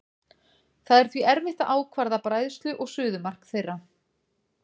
Það er því erfitt að ákvarða bræðslu- og suðumark þeirra.